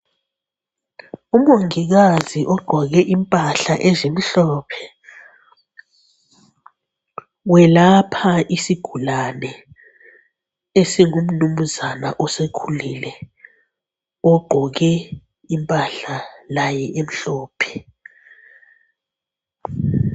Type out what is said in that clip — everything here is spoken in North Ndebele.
Umongikazi ugqoke impahla ezimhlophe uyelapha isigulane esingumnunzana osekhulile ogqoke impahla laye emhlophe.